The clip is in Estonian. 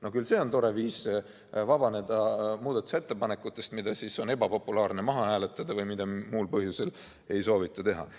No küll see on tore viis vabaneda muudatusettepanekutest, mida on ebapopulaarne maha hääletada või mida muul põhjusel ei soovita teha.